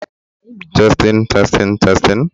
Ihe e ji akpọ ya noodules ozugbo bụ maka na ọ naghị egbu oge ịye